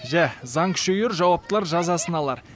жә заң күшейер жауаптылар жазасын алар